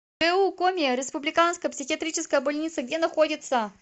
гу коми республиканская психиатрическая больница где находится